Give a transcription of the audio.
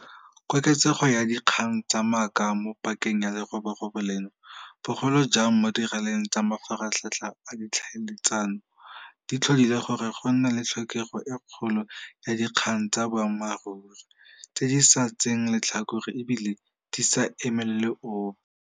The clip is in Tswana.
Koketsego ya dikgang tsa maaka mo pakeng ya leroborobo leno, bogolo jang mo diraleng tsa mafaratlhatlha a ditlhaeletsano, di tlhodile gore go nne le tlhokego e kgolo ya dikgang tsa boammaruri, tse di sa tseeng letlhakore e bile di sa emelele ope.